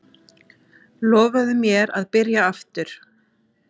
Lofaðu mér að byrja aftur!